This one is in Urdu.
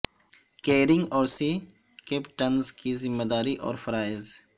کیریئرنگ اور سی کیپٹنز کی ذمہ داری اور فرائض